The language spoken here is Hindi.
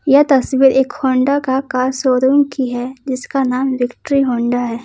क्या तस्वीर एक होंडा का का शोरूम की है जिसका नाम विक्ट्री होंडा है।